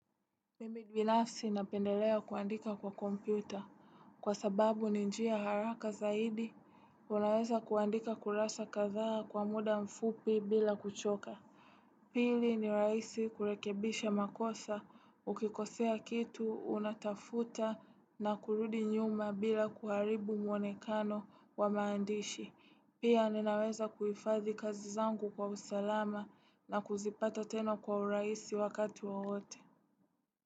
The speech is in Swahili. Mimi binafsi napendelea kuandika kwa kompyuta kwa sababu ni njia haraka zaidi. Unaweza kuandika kurasa kathaa kwa muda mfupi bila kuchoka. Pili ni rahisi kurekebisha makosa ukikosea kitu unatafuta na kurudi nyuma bila kuharibu mwonekano wa maandishi. Pia ninaweza kuhifathi kazi zangu kwa usalama na kuzipata tena kwa urahisi wakati wowote.